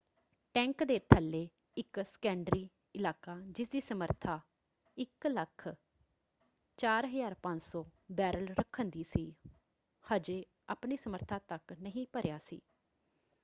Tank ਦੇ ਥੱਲੇ ਇੱਕ ਸੈਕੰਡਰੀ ਇਲਾਕਾ ਜਿਸਦੀ ਸਮਰੱਥਾ 104,500 ਬੈਰਲ ਰੱਖਣ ਦੀ ਸੀ ਹਜੇ ਆਪਣੀ ਸਮਰੱਥਾ ਤੱਕ ਨਹੀਂ ਭਰਿਆ ਸੀ।